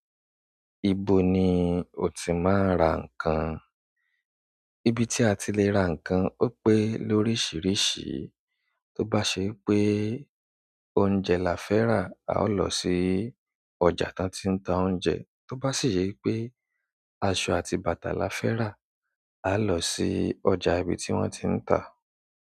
Ibo ni o ti máa ń ra nǹkan? Ibi tí a ti lè ra nǹkan ó pé lóríṣiríṣi. Tó bá se wipé oúnjẹ la fẹ́ rà, a ó lọ sí ọjà tí wọ́n ti ń ta oúnjẹ. Tó bá sì yé wipé aṣọ àti bàtà la fẹ́ rà, a lọ sí ọjà ibi tí wọ́n ti ń ta.